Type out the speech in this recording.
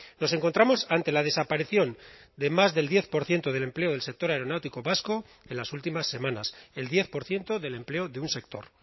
nos encontramos ante la desaparición de más del diez por ciento del empleo del sector aeronáutico vasco en las últimas semanas el diez por ciento del empleo de un sector